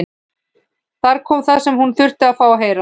Þar kom það sem hún þurfti að fá að heyra.